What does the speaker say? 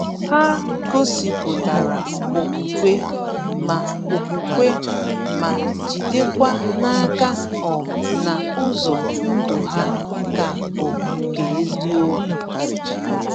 Ha gosipụtara okwukwe, ma okwukwe, ma jidekwa n’aka um na ụzọ ndụ ha ka bụ nke eziokwu.